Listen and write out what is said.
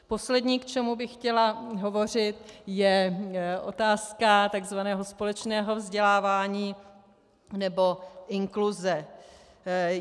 Poslední, k čemu bych chtěla hovořit, je otázka tzv. společného vzdělávání nebo inkluze.